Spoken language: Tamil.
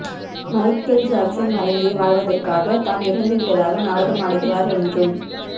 மைக்கேல் ஜாக்சன் மறைந்து வாழ்வதற்காக தான் இறந்துவிட்டதாக நாடகம் ஆடுகிறார் என்றும்